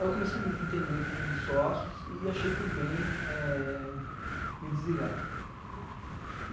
Aí eu comecei a me desentender com um dos sócios e achei por bem é... Me desligar.